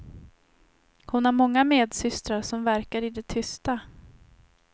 Hon har många medsystrar som verkar i det tysta.